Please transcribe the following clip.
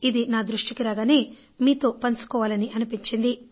ఇది నా దృష్టికి రాగానే మీతో పంచుకోవాలని అనిపించింది